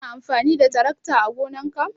Kana amfani da tarakta ã gonan ka?